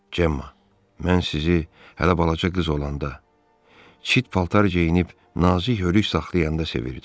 Cemma, mən sizi hələ balaca qız olanda, çit paltar geyinib nazik hörüklü saxlayanda sevirdim.